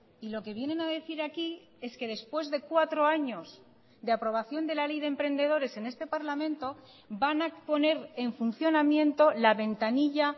y lo que vienen a decir aquí es que después de cuatro años de aprobación de la ley de emprendedores en este parlamento van a poner en funcionamiento la ventanilla